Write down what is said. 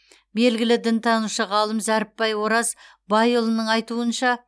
белгілі дінтанушы ғалым зәріпбай ораз байұлының айтуынша